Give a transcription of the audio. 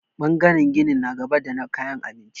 Ɓangaren ginin na gaba da na kayan abinci.